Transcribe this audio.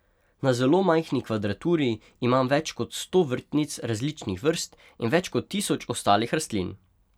Na zelo majhni kvadraturi imam več kot sto vrtnic različnih vrst in več kot tisoč ostalih rastlin.